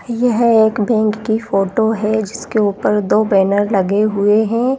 यह एक बैंक कि फोटो है जिसके उपर दो बैरन लगे हुए--